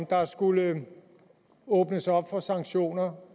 der skulle åbnes op for sanktioner